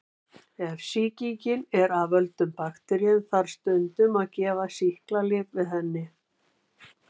Ef sýkingin er af völdum bakteríu þarf stundum að gefa sýklalyf við henni.